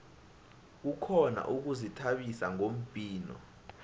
kukhona ukuzithabisa ngombhino